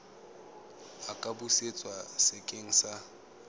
a ka busetswa sekeng sa